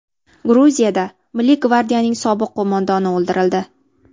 Gruziyada milliy gvardiyaning sobiq qo‘mondoni o‘ldirildi.